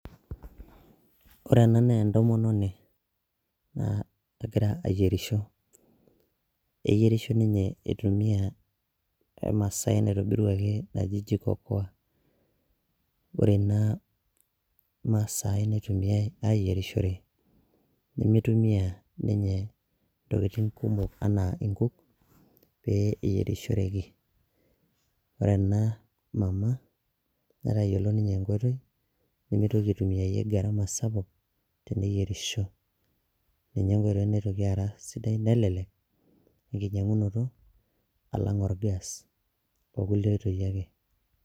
Ore ena nee entomononi naa egira ayerisho, eyerisho ninye itumia emsaai naitobiruaki naji jiko koa. Ore ena masai nitumiai ayerishore nemitumia ninye ntokitin kumok enaa nkuuk pee eyerishoreki, ore ena mama netayolo ninye enkoitoi nemitoki aitumia gharama sapuk teneyerisho. NInye enkoitoi naitoki ara sidai nelelek enkinyang'unoto alang' or gas o kulie toi ake.